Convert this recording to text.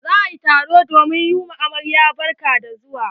Za a yi taro domin yi wa amaryar barka da zuwa.